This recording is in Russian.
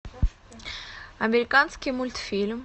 американский мультфильм